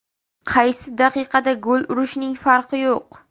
Qaysi daqiqada gol urishning farqi yo‘q.